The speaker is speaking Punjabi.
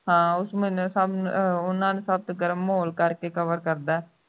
ਹਾਂ ਉਸ ਮਹੀਨੇ ਸਬ ਅਹ ਉਨ੍ਹਾਂ ਨੂੰ ਸਰਦ ਗਰਮ ਮਾਹੌਲ ਕਰਕੇ cover ਕਰਦਾ ਹੈ